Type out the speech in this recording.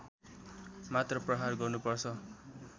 मात्र प्रहार गर्नुपर्छ